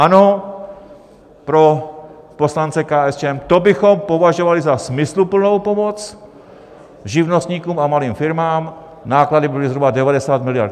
Ano, pro poslance KSČM: to bychom považovali za smysluplnou pomoc živnostníkům a malým firmám, náklady byly zhruba 90 miliard.